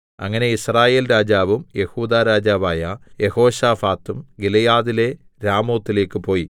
അങ്ങനെ യിസ്രായേൽ രാജാവും യെഹൂദാ രാജാവായ യെഹോശാഫാത്തും ഗിലെയാദിലെ രാമോത്തിലേക്കു പോയി